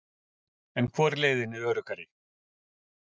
Lóa: En hvor leiðin er öruggari?